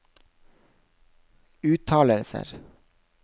uttalelser